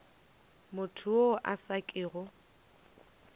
motho yo a sa kego